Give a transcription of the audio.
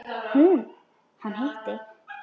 Hún: Hann hitti.